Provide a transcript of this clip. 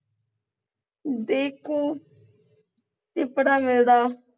ਦੇਖੋ ਚਿਪੜਾ ਮਿਲਦਾ